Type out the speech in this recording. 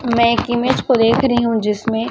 मैं एक इमेज को देख रही हूं जिसमें--